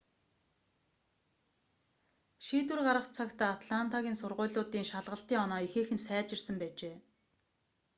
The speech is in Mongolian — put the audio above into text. шийдвэр гарах цагт атлантагийн сургуулиудын шалгалтын оноо ихээхэн сайжирсан байжээ